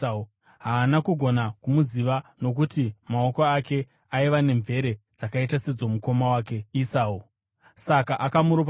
Haana kugona kumuziva, nokuti maoko ake aiva nemvere dzakaita sedzomukoma wake Esau; saka akamuropafadza.